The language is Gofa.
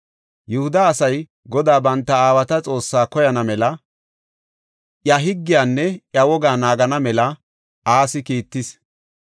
Yihuda asay Godaa banta aawata Xoossaa koyana mela, iya higgiyanne iya wogaa naagana mela Asi kiittis.